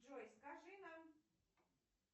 джой скажи нам